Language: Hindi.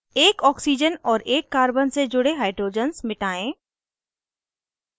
एक oxygen और एक carbon से जुड़े hydrogens मिटायें